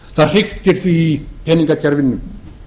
það hriktir því í peningakerfinu